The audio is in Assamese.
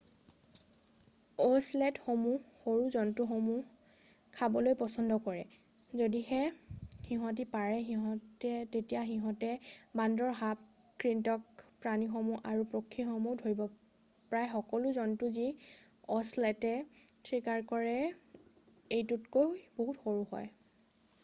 অ'চেলটসমূহে সৰু জন্তুসমূহ খাবলৈ পছন্দ কৰে৷ যদিহে সিঁহতি পাৰে তেতিয়া সিঁহতে বান্দৰ সাপ কৃন্তক প্ৰাণীসমূহ আৰু পক্ষীসমূহ ধৰিব৷ প্ৰায় সকলো জন্তু যি অ'চেলটে চিকাৰ কৰে এইটোতকৈ বহুত সৰু হয়৷